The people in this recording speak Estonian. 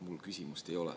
Mul küsimust ei ole.